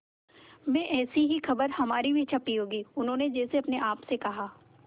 में ऐसी ही खबर हमारी भी छपी होगी उन्होंने जैसे अपने आप से कहा